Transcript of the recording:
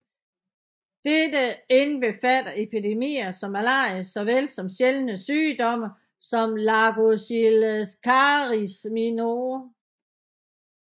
Dette indbefatter epidemier som malaria så vel som sjældne sygdomme som lagochilascaris minor